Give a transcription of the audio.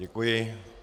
Děkuji.